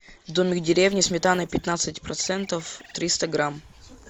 домик в деревне сметана пятнадцать процентов триста грамм